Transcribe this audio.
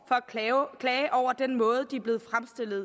at klage over den måde de er blevet fremstillet